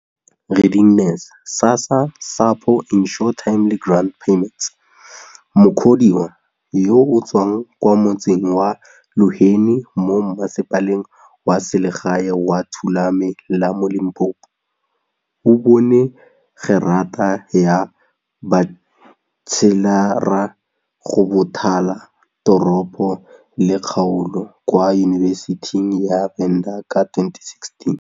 Mukhodiwa, yo o tswang kwa motseng wa Luheni mo Mmasepaleng wa Selegae wa Thulame la mo Limpopo, o bone gerata ya batšhelara go Bothala Teropo le Kgaolo kwa Yunibesithing ya Venda ka 2016.